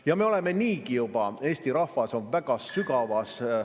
Ja me oleme niigi juba, Eesti rahvas on väga sügavas ...